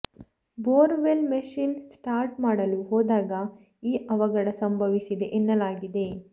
bore well machine start ಮಾಡಲು ಹೋದಾಗ ಈ ಅವಘಡ ಸಂಭವಿಸಿದೆ ಎನ್ನಲಾಗಿದೆ